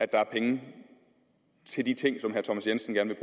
der er penge til de ting som herre thomas jensen gerne